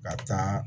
Ka taa